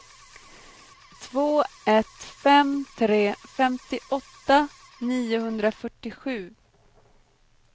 två ett fem tre femtioåtta niohundrafyrtiosju